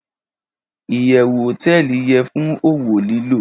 iyewu hoteeli ye fun owo lilo